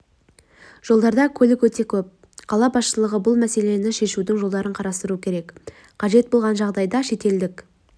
жолдарда көлік өте көп қала басшылығы бұл мәселені шешудің жолдарын қарастыруы керек қажет болған жағдайда шетелдік